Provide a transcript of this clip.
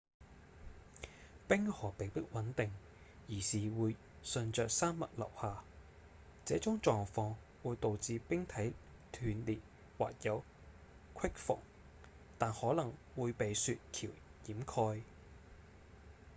冰河並不穩定而是會順著山脈流下這種狀況會導致冰體斷裂或有隙縫但可能會被雪橋掩蓋